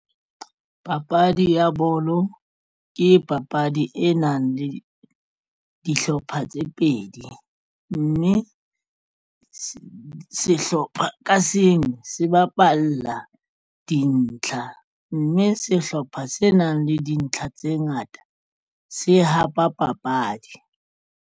Papadi ya bolo ke papadi e nang le dihlopha tse pedi mme sehlopha ka seng se bapalla dintlha mme sehlopha se nang le dintlha tse ngata se hapa papadi.